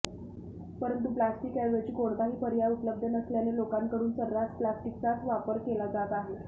परंतु प्लास्टिकऐवजी कोणताही पर्याय उपलब्ध नसल्याने लोकांकडून सर्रास प्लास्टिकचाच वापर केला जात आहे